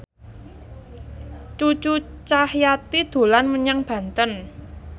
Cucu Cahyati dolan menyang Banten